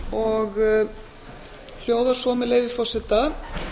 og hljóðar svo með leyfi forseta